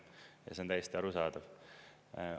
See on täiesti arusaadav.